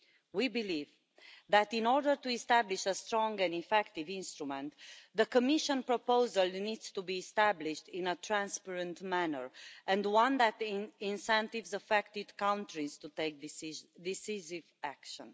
We believe that in order to establish a strong and effective instrument, the Commission proposal needs to be established in a transparent manner and one that incentivises affected countries to take decisive action.